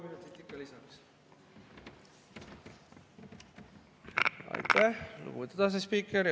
Aitäh, lugupeetud asespiiker!